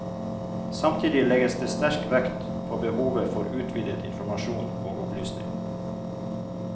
Samtidig legges det sterk vekt på behovet for utvidet informasjon og opplysning.